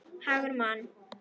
Hagur Man.